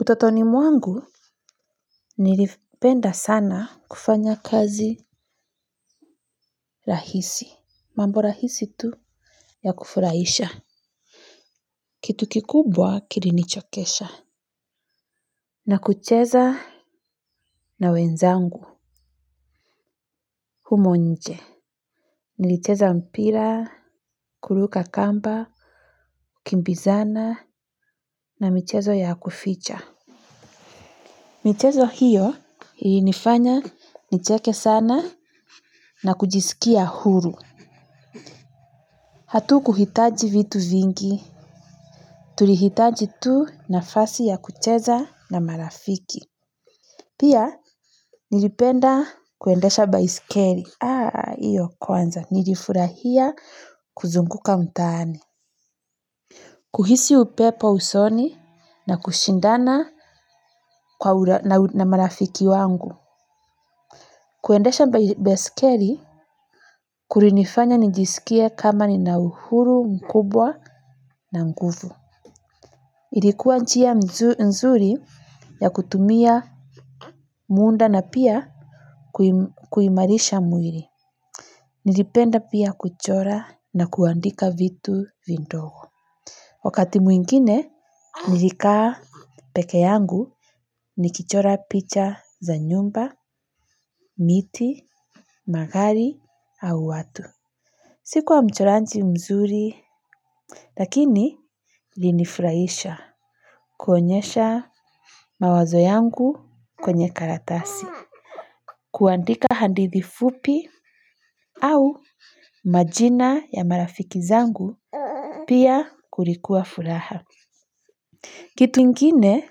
Utotoni mwangu nilipenda sana kufanya kazi rahisi. Mambo rahisi tu ya kufurahisha. Kitu kikubwa kilinichokesha. Na kucheza na wenzangu. Humo nje. Nilicheza mpira, kuruka kamba, kukimbizana na michezo ya kuficha. Michezo hiyo ilinifanya nicheke sana na kujisikia huru. Hatukuhitaji vitu vingi, tulihitaji tu nafasi ya kucheza na marafiki. Pia, nilipenda kuendesha baisikeri. Aa, iyo kwanza, nilifurahia kuzunguka mtaani. Kuhisi upepo usoni na kushindana na marafiki wangu. Kuendesha baisikeri, kurinifanya nijisikie kama nina uhuru mkubwa na nguvu. Ilikuwa njia nzuri ya kutumia muda na pia kuimarisha mwiri. Nilipenda pia kuchora na kuandika vitu vidogo. Wakati mwingine, nilikaa peke yangu nikichora picha za nyumba, miti, magari au watu. Sikuwa mchoraji mzuri, lakini ilinifraisha kuonyesha mawazo yangu kwenye karatasi. Kuandika hadithi fupi au majina ya marafiki zangu pia kulikuwa furaha. Kitu ingine